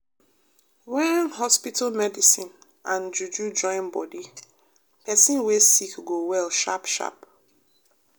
wen hospital medicine and juju join bodi pesin wey sick go well sharp sharp.